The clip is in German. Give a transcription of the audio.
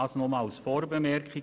Dies nur als Vorbemerkung.